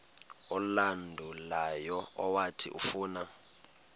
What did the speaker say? olandelayo owathi ufuna